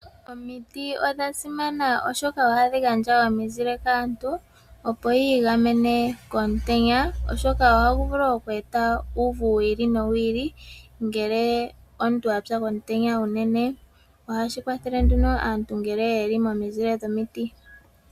Omiti odha simana oshoka ohadhi gandja omizile kaantu opo yi igamene komutenya oshoka ohagu vulu okweeta uuvu wi ili nowi ili ngele omuntu apya komutenya unene ohashi kwathele nduno aantu ngele yeli momizile dhomiti.